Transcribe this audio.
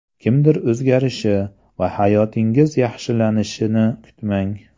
Kimdir o‘zgarishi va hayotingiz yaxshilanishini kutmang.